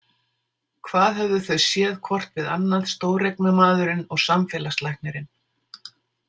Hvað höfðu þau séð hvort við annað, stóreignamaðurinn og samfélagslæknirinn?